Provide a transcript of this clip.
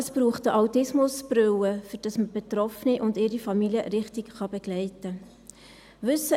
Es braucht eine «Autismusbrille», damit man Betroffene und ihre Familie richtig begleiten kann.